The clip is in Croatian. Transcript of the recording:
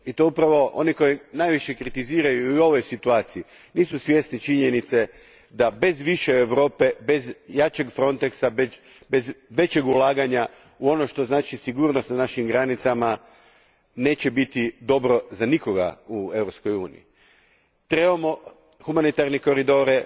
I upravo oni koji najviše kritiziraju u ovoj situaciji nisu svjesni činjenice da bez više Europe, bez jačeg Frontexa, bez većeg ulaganja u ono što znači sigurnost na našim granicama, neće biti dobro ni za koga u Europskoj uniji. Trebamo humanitarne koridore,